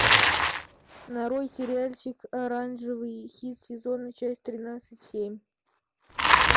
нарой сериальчик оранжевый хит сезона часть тринадцать семь